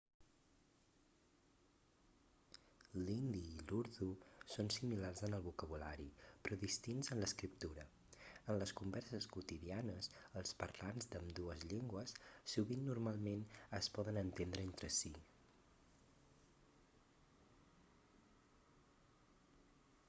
l'hindi i l'urdú són similars en el vocabulari però distints en l'escriptura en les converses quotidianes els parlants d'ambdues llengües sovint normalment es poden entendre entre si